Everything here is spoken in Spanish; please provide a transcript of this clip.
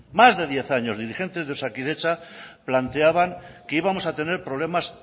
más de diez años dirigentes de osakidetza planteaban que íbamos a tener problemas